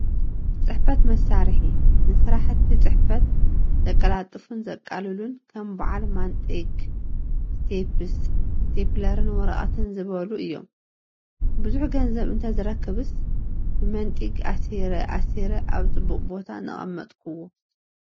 ፅሕፈት መሳርሒ፡- ንስራሕቲ ፅፈት ዘቀላጥፉን ዘቃልሉን ከም ባዓል ማንጢግ፣ ስቴኘስ፣ ስቴኘለርን ወረቐትን ዝበሉ እዮም፡፡ ብዙሕ ገንዘብ እንተዝረክብስ ብመንጢግ ኣሲረ ኣሲረ ኣብ ፅቡቕ ቦታ ነቐመጥክዎ.....